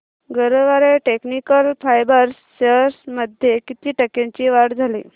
Garware technical fibres shares मध्ये किती टक्क्यांची वाढ झाली